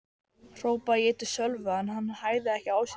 hrópaði ég til Sölva en hann hægði ekki á sér.